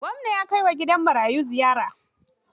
Gwamna ya kai wa gidan marayu ziyara.